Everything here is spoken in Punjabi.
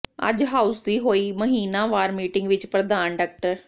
ਅੱਜ ਹਾਊਸ ਦੀ ਹੋਈ ਮਹੀਨਾਵਰ ਮੀਟਿੰਗ ਵਿੱਚ ਪ੍ਰਧਾਨ ਡਾ